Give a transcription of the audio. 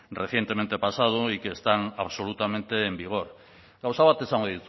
recientemente pasado y que están absolutamente en vigor gauza bat esango